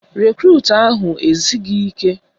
Rekrut ahụ esighị ike